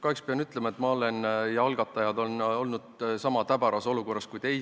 Kahjuks pean ütlema, et mina ja ka algatajad oleme sama täbaras olukorras kui teie.